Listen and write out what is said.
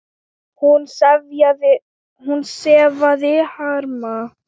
Hún sefaði harma.